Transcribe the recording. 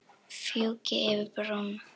Fjúki yfir brúna.